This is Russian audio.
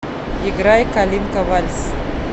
играй калинка вальс